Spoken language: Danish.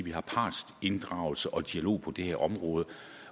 vi har partsinddragelse og dialog på det her område